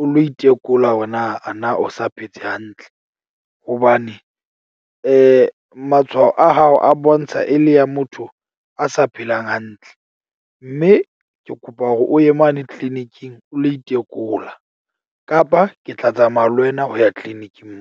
O lo itekola hore na a na o sa phetse hantle hobane matshwao a hao a bontsha e le ya motho a sa phelang hantle. Mme ke kopa hore o ye mane clinic-ing o lo itekola kapa ke tla tsamaya le wena ho ya clinic-ing .